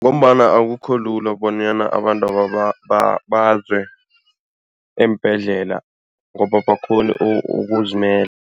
Ngombana akukho lula bonyana abantwaba baze eembhedlela ngoba abakghoni ukuzimela.